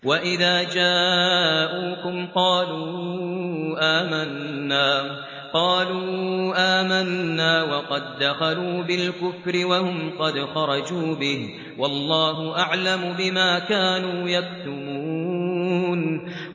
وَإِذَا جَاءُوكُمْ قَالُوا آمَنَّا وَقَد دَّخَلُوا بِالْكُفْرِ وَهُمْ قَدْ خَرَجُوا بِهِ ۚ وَاللَّهُ أَعْلَمُ بِمَا كَانُوا يَكْتُمُونَ